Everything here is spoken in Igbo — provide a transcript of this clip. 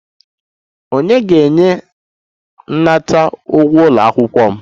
Ònye ga-enye m nnata ụgwọ ụlọ akwụkwọ m?